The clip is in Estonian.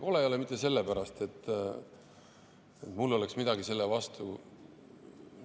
Kole ei ole see mitte sellepärast, et mul oleks midagi selle vastu.